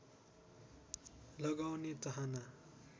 लगाउने चाहना